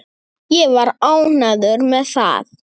Ég var ánægður með það.